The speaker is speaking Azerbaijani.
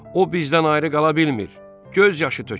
O bizdən ayrı qala bilmir, göz yaşı tökür.